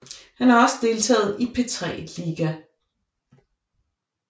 Han har også deltaget i P3 Liga